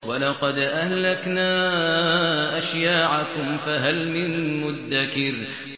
وَلَقَدْ أَهْلَكْنَا أَشْيَاعَكُمْ فَهَلْ مِن مُّدَّكِرٍ